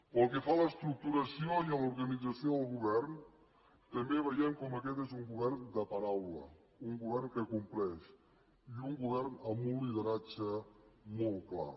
pel que fa a l’estructuració i a l’organització del govern també veiem com aquest és un govern de paraula un govern que compleix i un govern amb un lideratge molt clar